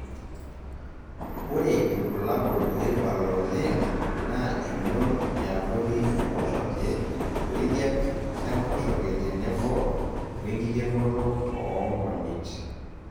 ore irbulabol oibala oleng naa emion e abori enkoshoke, wejian enkoshoke tenebo wenkikenoto oomonyit.